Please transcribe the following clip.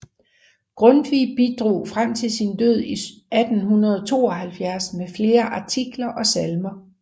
Grundtvig bidrog frem til sin død i 1872 med flere artikler og salmer